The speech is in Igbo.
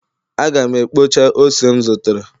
Aga m ekpocha ose m zụtara